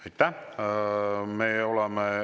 Aitäh!